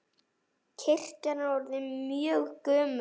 Kirkjan er orðin mjög gömul.